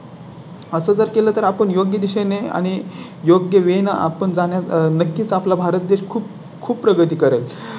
असं जर केलं तर आपण योग्य दिशेने आणि योग्य वेळ आपण जाण्यास नक्कीच आपला भारत देश खूप खूप प्रगती करेल. म्हणजे एक आह या या Foundation वरून माझं एक सांगणं आहे